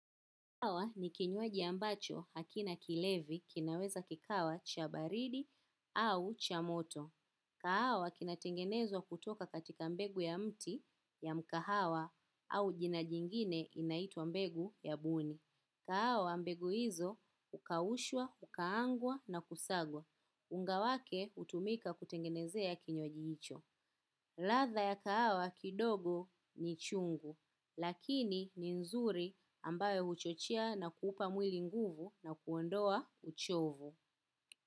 Kahawa ni kinywaji ambacho hakina kilevi kinaweza kikawa cha baridi au cha moto. Kahawa kinatengenezwa kutoka katika mbegu ya mti ya mkahawa au jina jingine inaitwa mbegu ya buni. Kahawa mbegu hizo hukaushwa, hukaangwa na kusagwa. Unga wake hutumika kutengenezea kinywaji hicho. Ladha ya kahawa kidogo ni chungu, lakini ni nzuri ambayo huchochea na kuupa mwili nguvu na kuondoa uchovu.